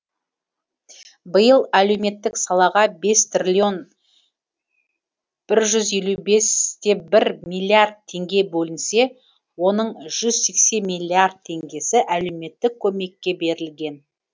биыл әлеуметтік салаға бес триллион бір жүз елу бес те бір миллиард теңге бөлінсе оның жүз сексен миллиард теңгесі әлеуметтік көмекке берілген